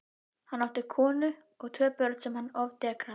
Hann átti konu og tvö börn sem hann ofdekraði.